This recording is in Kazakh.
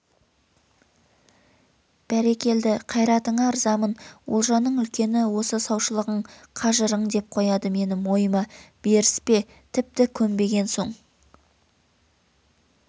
бәрекелді қайратыңа ырзамын олжаның үлкені осы саушылығың қажырың деп қояды мені мойыма беріспе тіпті көнбеген соң